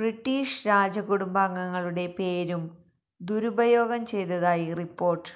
British രാജകുടുംബാംഗങ്ങളുടെ പേരും ദുരുപയോഗം ചെയ്തതായി റിപ്പോർട്ട്